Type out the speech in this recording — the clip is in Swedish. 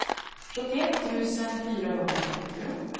sjuttioett tusen fyrahundrafemtio